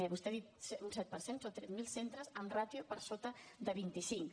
vostè ha dit un set per cent són tres mil centres amb ràtio per sota de vint cinc